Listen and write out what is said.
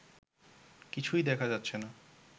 কিছুই দেখা যাচ্ছে না